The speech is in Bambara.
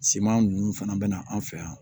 Siman ninnu fana bɛ na an fɛ yan